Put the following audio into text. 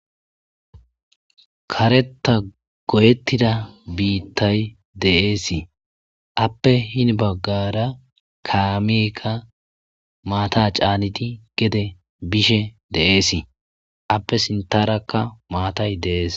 Kareta goyettida biittay deeesii appe hin baggara kaamekka maata caanidi gede bishe de'eesii appe sintarakka maatay deees.